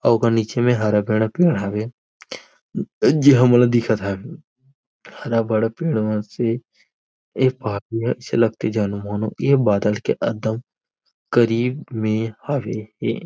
अउ ओकर नीचे म हरा भरा पेड़ हवे जे हमन ल दिखत हवे हरा भड़ा पेड़ मन से एक बादल के अउ करीब मे हरे हवे हे।